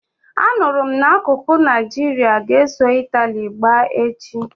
Anụrụ m n'akuko na Naijiria ga-eso Itali gbaa echi